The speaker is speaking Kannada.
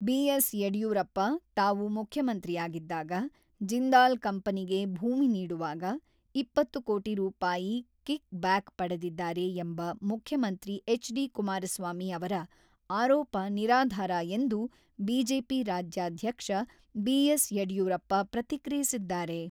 ಬಿ.ಎಸ್.ಯಡ್ಯೂರಪ್ಪ ತಾವು ಮುಖ್ಯಮಂತ್ರಿಯಾಗಿದ್ದಾಗ, ಜಿಂದಾಲ್ ಕಂಪನಿಗೆ ಭೂಮಿ ನೀಡುವಾಗ, ಇಪ್ಪತ್ತು ಕೋಟಿ ರೂಪಾಯಿ ಕಿಕ್‌ಬ್ಯಾಕ್ ಪಡೆದಿದ್ದಾರೆ ಎಂಬ ಮುಖ್ಯಮಂತ್ರಿ ಎಚ್.ಡಿ.ಕುಮಾರಸ್ವಾಮಿ ಅವರ ಆರೋಪ ನಿರಾಧಾರ ಎಂದು ಬಿಜೆಪಿ ರಾಜ್ಯಾಧ್ಯಕ್ಷ ಬಿ.ಎಸ್.ಯಡ್ಯೂರಪ್ಪ ಪ್ರತಿಕ್ರಿಯಿಸಿದ್ದಾರೆ.